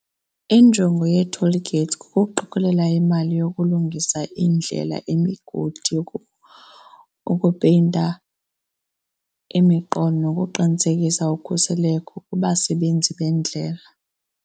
Injongo yee-toll gates kukuqokolela imali yokulungisa iindlela, imigodi , ukupeyinta imigqa nokuqinisekisa ukhuseleko kubasebenzi bendlela.